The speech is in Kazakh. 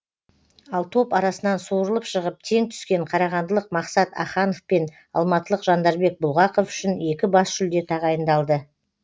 ал топ арасынан суырылып шығып тең түскен қарағандылық мақсат аханов пен алматылық жандарбек бұлғақов үшін екі бас жүлде тағайындалды